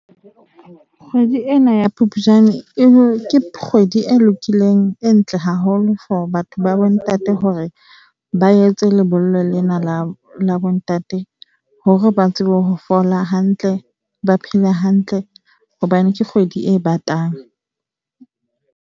Kgwedi ena ya Phupjane ke kgwedi e lokileng, e ntle haholo for batho ba bontate, hore ba etse lebollo lena la la bontate hore ba tsebe ho fola hantle, ba phele hantle hobane ke kgwedi e batang.